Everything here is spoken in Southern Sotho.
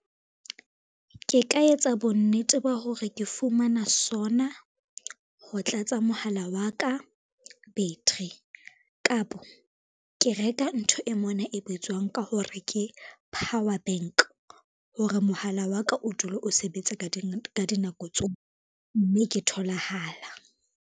Ke ka etsa bonnete ba hore ke fumana sona ho tlatsa mohala wa ka battery, kapo ke re ka ntho ng e mona e bitswang ka hore ke power bank, hore mohala wa ka o dule o sebetsa ka dinako mme ke tholahala.